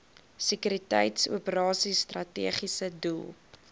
sekuriteitsoperasies strategiese doel